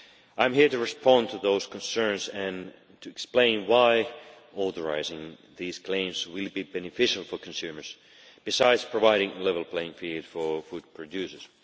I am here to respond to those concerns and to explain why authorising these claims will be beneficial for consumers, besides providing a level playing field for food producers.